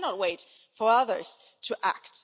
we cannot wait for others to act.